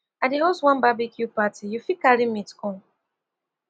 i dey host one barbecue party you fit carry meat come